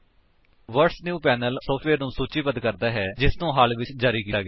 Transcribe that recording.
what's New panel ਉਸ software ਨੂੰ ਸੂਚੀਬੱਧ ਕਰਦਾ ਹੈ ਜਿਸਨੂੰ ਹਾਲ ਵਿੱਚ ਜਾਰੀ ਕੀਤਾ ਗਿਆ ਹੈ